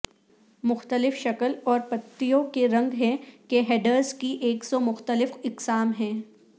مختلف شکل اور پتیوں کے رنگ ہیں کہ ہیڈرز کی ایک سو مختلف اقسام ہیں